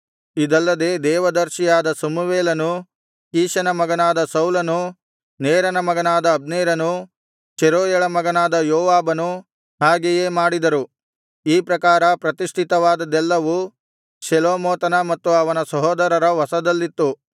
ಇದಲ್ಲದೆ ದೇವ ದರ್ಶಿಯಾದ ಸಮುವೇಲನೂ ಕೀಷನ ಮಗನಾದ ಸೌಲನೂ ನೇರನ ಮಗನಾದ ಅಬ್ನೇರನೂ ಚೆರೂಯಳ ಮಗನಾದ ಯೋವಾಬನೂ ಹಾಗೆಯೇ ಮಾಡಿದರು ಈ ಪ್ರಕಾರ ಪ್ರತಿಷ್ಠಿತವಾದದ್ದೆಲ್ಲವೂ ಶೆಲೋಮೋತನ ಮತ್ತು ಅವನ ಸಹೋದರರ ವಶದಲ್ಲಿತ್ತು